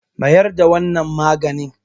mayar da wannan maganin!